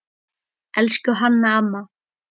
Elsku Hanna amma.